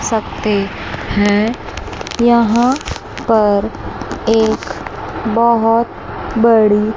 सकते है यहां पर एक बहोत बड़ी--